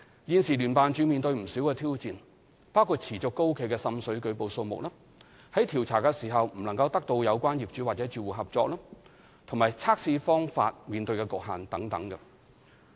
現時聯辦處面對不少挑戰，包括持續高企的滲水舉報數目、在調查時未能得到有關業主或住戶合作，以及測試方法的局限性等。